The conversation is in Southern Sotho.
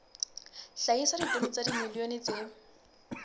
hlahisa ditone tsa dimilione tse